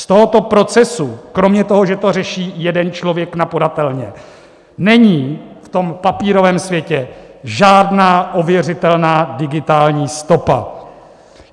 Z tohoto procesu kromě toho, že to řeší jeden člověk na podatelně, není v tom papírovém světě žádná ověřitelná digitální stopa.